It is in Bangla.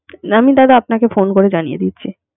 যেমন আপনকে phone করে জানিয়ে দিচ্ছে